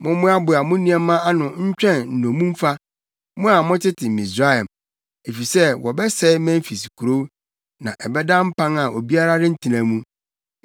Mommoaboa mo nneɛma ano ntwɛn nnommumfa, mo a motete Misraim, efisɛ wɔbɛsɛe Memfis kurow na ɛbɛda mpan a obiara rentena mu.